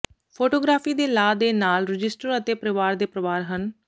photography ਦੇ law ਦੇ ਨਾਲ ਰਜਿਸਟਰ ਅਤੇ ਪਰਿਵਾਰ ਦੇ ਪਰਿਵਾਰ ਹਨ